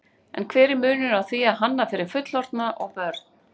En hver er munurinn á því að hanna fyrir fullorðna og börn?